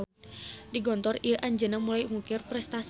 Di Gontor ieu anjeunna mulai ngukir prestasi.